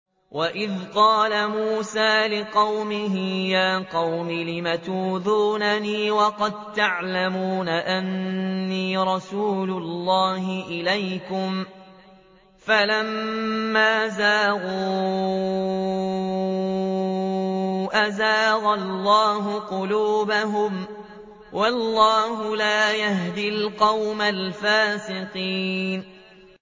وَإِذْ قَالَ مُوسَىٰ لِقَوْمِهِ يَا قَوْمِ لِمَ تُؤْذُونَنِي وَقَد تَّعْلَمُونَ أَنِّي رَسُولُ اللَّهِ إِلَيْكُمْ ۖ فَلَمَّا زَاغُوا أَزَاغَ اللَّهُ قُلُوبَهُمْ ۚ وَاللَّهُ لَا يَهْدِي الْقَوْمَ الْفَاسِقِينَ